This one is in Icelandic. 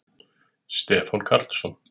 Stefán Karlsson.